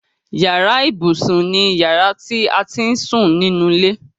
Yàrá ibùsùn ni yàrá ti à á ti ń sún nínú ilé.